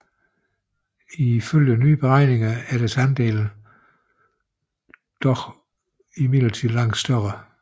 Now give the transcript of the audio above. Ifølge nyere beregninger er deres andel dog imidlertid langt større